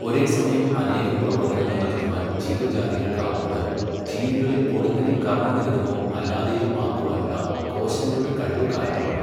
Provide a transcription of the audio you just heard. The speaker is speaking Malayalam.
ഒരേ സമയം അനേകം പ്രവർത്തനങ്ങൾ നടത്തുവാൻ ജീവജാതികൾക്കാവുന്നത്, ജീനുകളെ പൊടുന്നനെ കർമ്മനിരതമോ അല്ലാതെയോ ആക്കുവാനുള്ള കോശങ്ങളുടെ കഴിവ് കാരണമാണ്.